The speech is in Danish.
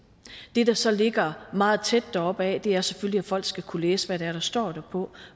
det der så ligger meget tæt der opad er selvfølgelig at folk skal kunne læse hvad det er der står derpå